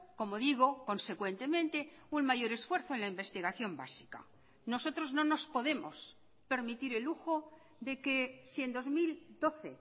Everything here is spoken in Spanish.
como digo consecuentemente un mayor esfuerzo en la investigación básica nosotros no nos podemos permitir el lujo de que si en dos mil doce